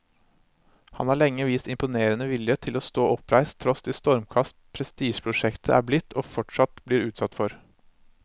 Han har lenge vist imponerende vilje til å stå oppreist tross de stormkast prestisjeprosjektet er blitt og fortsatt blir utsatt for.